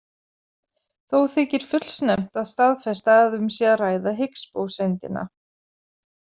Þó þykir fullsnemmt að staðfesta að um sé að ræða Higgs-bóseindina.